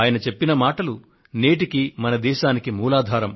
ఆయన చెప్పిన మాటలు నేటికీ మన దేశానికి మూలాధారం